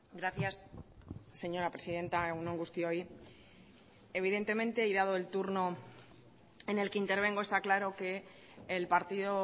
gracias señora presidenta egun on guztioi evidentemente y dado el turno en el que intervengo está claro que el partido